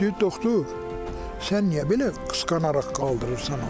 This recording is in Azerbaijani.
Deyir doktor, sən niyə belə qısqanaraq qaldırırsan onu?